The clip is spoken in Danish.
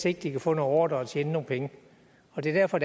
ikke kan få nogle ordrer og tjene nogle penge og det er derfor